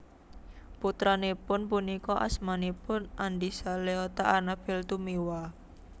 Putranipun punika asmanipun Andisa Leota Anabel Tumiwa